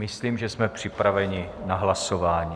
Myslím, že jsme připraveni na hlasování.